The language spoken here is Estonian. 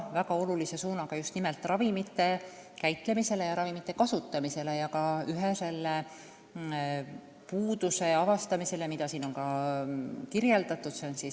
Väga oluline suund on seejuures nimelt ravimite käitlemise, kasutamise ja ohjeldamise puuduste avastamine, mida siin on kirjeldatud.